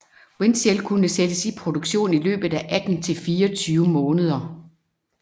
Windcell kunne sættes i produktion i løbet af 18 til 24 måneder